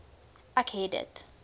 ek het dit